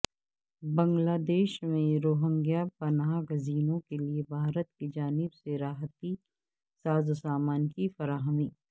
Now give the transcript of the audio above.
بنگلہ دیش میں روہنگیا پناہ گزینوں کیلئے بھارت کی جانب سے راحتی سازوسامان کی فراہمی